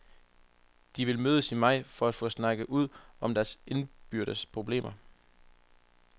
De vil mødes i maj for at få snakket ud om deres indbyrdes problemer.